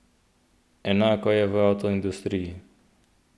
Enako je v avtoindustriji.